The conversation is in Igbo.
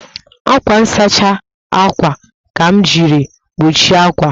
Ákwà nsachi àkwà ka m jiri kpuchie àkwà